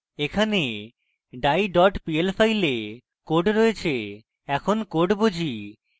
এখানে die pl file code রয়েছে এখন code বুঝি